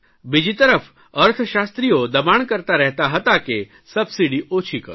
બીજી તરફ અર્થશાસ્ત્રીઓ દબાણ કરતા રહેતા હતા કે સબસીડી ઓછી કરો